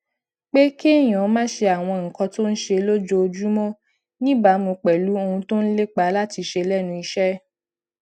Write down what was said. pé kéèyàn máa ṣe àwọn nǹkan tó ń ṣe lójoojúmó níbàámu pèlú ohun tó ń lépa láti ṣe lénu iṣé